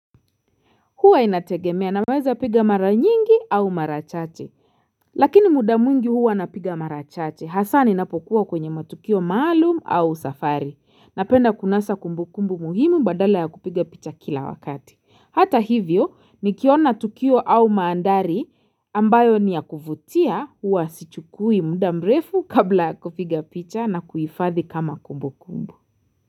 Huwa inategemea naweza piga mara nyingi au mara chache. Lakini muda mwingi huwa napiga mara chache. Hasa ninapokuwa kwenye matukio maalum au safari. Napenda kunasa kumbukumbu muhimu badala ya kupiga picha kila wakati. Hata hivyo, nikiona tukio au mandhari ambayo ni ya kuvutia huwa sichukui muda mrefu kabla ya kupiga picha na kuihifadhi kama kumbukumbu.